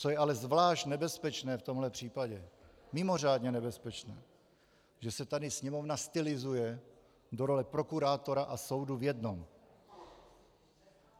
Co je ale zvlášť nebezpečné v tomhle případě, mimořádně nebezpečné, že se tady Sněmovna stylizuje do role prokurátora a soudu v jednom.